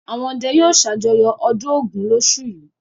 Àwọn ọdẹ yóò ṣàjọyọ̀ ọdún Ògún lóṣù yìí.